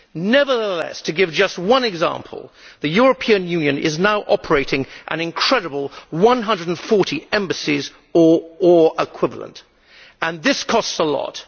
Nevertheless, to give just one example, the European Union is now operating an incredible 140 embassies or equivalent, and this costs a lot.